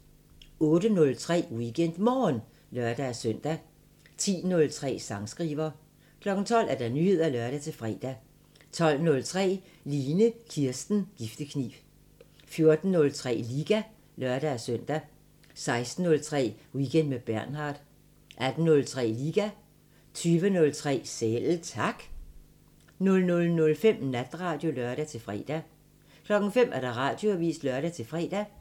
08:03: WeekendMorgen (lør-søn) 10:03: Sangskriver 12:00: Nyheder (lør-fre) 12:03: Line Kirsten Giftekniv 14:03: Liga (lør-søn) 16:03: Weekend med Bernhard 18:03: Liga 20:03: Selv Tak 00:05: Natradio (lør-fre) 05:00: Radioavisen (lør-fre)